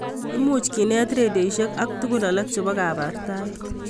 Imuch kenet redioisiek ak tuguk alak chebo kabartaet